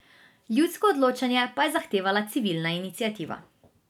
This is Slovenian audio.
Ljudsko odločanje pa je zahtevala civilna iniciativa.